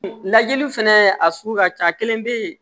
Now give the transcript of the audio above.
Lajɛliw fɛnɛ a sugu ka ca a kelen bɛ yen